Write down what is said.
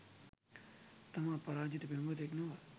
තමා පරාජිත පෙම්වතෙක් නොව